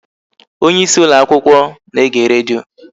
Onyeisi ụlọakwụkwọ na-ege redio